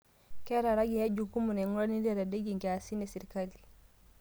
Keeta raiyua jukumu naing'urarie netadedeyie nkiasin e sirkali